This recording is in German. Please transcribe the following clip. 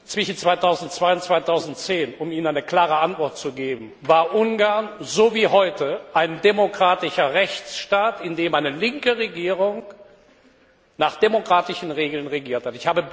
Zwischen 2002 und 2010 um Ihnen eine klare Antwort zu geben war Ungarn, so wie heute, ein demokratischer Rechtsstaat, in dem eine linke Regierung nach demokratischen Regeln regiert hat.